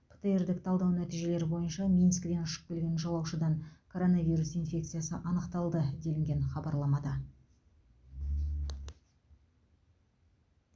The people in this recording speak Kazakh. птр дік талдау нәтижелері бойынша минскіден ұшып келген жолаушыдан коронавирус инфекциясы анықталды делінген хабарламада